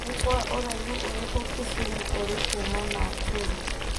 Nĩ Kwa ũraihu ũrikũ Kisumu ũrĩ kuma Nakuru